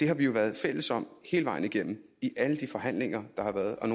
har vi jo været fælles om hele vejen igennem i alle de forhandlinger der har været og